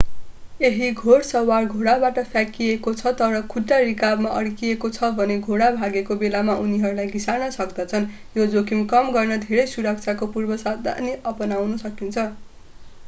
यदि घोड सवार घोडाबाट फ्याँकिएको छ तर खुट्टा रिकाबमा अड्किएको छ भने घोडा भागेको बेलामा उनीहरूलाई घिसार्न सक्दछन् यो जोखिम कम गर्न धेरै सुरक्षाका पूर्वसावधानी अपनाउन सकिन्छ